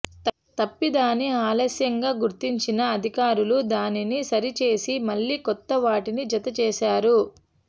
తప్పిదాన్ని ఆలస్యంగా గుర్తించిన అధికారులు దానిని సరిచేసి మళ్లీ కొత్త వాటిని జత చేశారు